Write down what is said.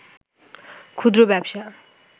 ক্ষুদ্র ব্যবসা